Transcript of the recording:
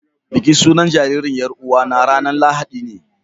Bikin sunan jariri yar'uwa na ranan lahadine